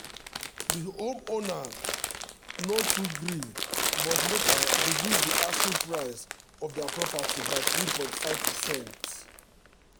di homeowner no too gree but later reduce di asking price of dia property by 3.5%.